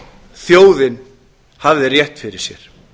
þjóðin hafði rétt fyrir sér